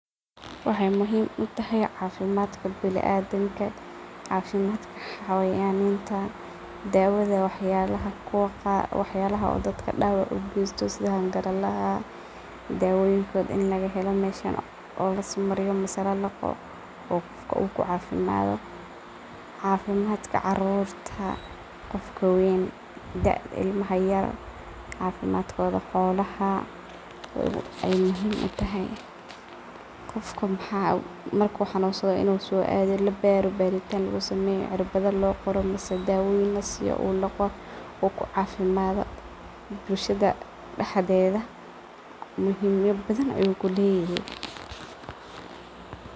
Wexey muhiim utahay cafimadka biniadanka, xawannayada dawada waxyalaha dawaca gesto sida hangarakaha daawadoda aya halkan lagahela oo laismariyo mise lalaqo oo qofka kucafimado cafimadka carurta, dadka waween, kuwa yaryar, xolaha ayey muhiim utahay. Qof mar soado inni labaro oo cirbado loqoro mise dawoyin lasiyo uu laqo uu kucafimado bulshada dexdeda muhiim badan ayu kulyehe.